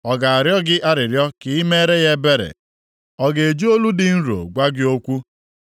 Ọ ga-arịọ gị arịrịọ ka i meere ya ebere? Ọ ga-eji olu dị nro gwa gị okwu?